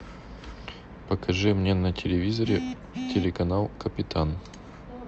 покажи мне на телевизоре телеканал капитан